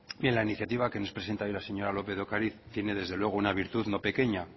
bien la iniciativa que nos presenta hoy la señora lópez de ocariz tiene desde luego una virtud no pequeña